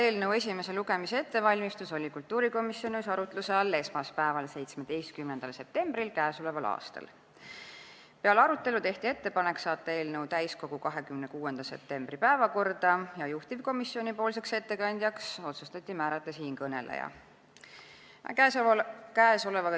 Eelnõu esimese lugemise ettevalmistus oli kultuurikomisjonis arutluse all esmaspäeval, 17. septembril k.a. Peale arutelu tehti ettepanek saata eelnõu täiskogu 26. septembri päevakorda ja juhtivkomisjoni ettekandjaks otsustati määrata siinkõneleja.